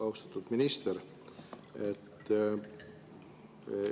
Austatud minister!